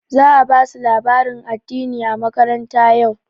Za a ba su labarin addini a makaranta yau.